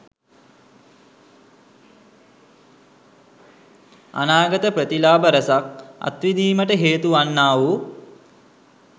අනාගත ප්‍රතිලාභ රැසක් අත් විඳීමට හේතු වන්නා වූ